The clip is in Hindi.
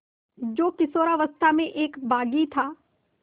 जो किशोरावस्था में एक बाग़ी था